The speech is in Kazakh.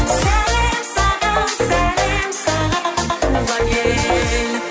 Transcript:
сәлем саған сәлем саған туған ел